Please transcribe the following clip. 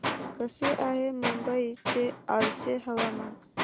कसे आहे मुंबई चे आजचे हवामान